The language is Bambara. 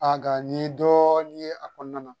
A ka n ye dɔɔnin ye a kɔnɔna na